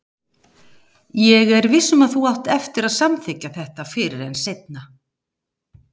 Ég er viss um að þú átt eftir að samþykkja þetta fyrr en seinna.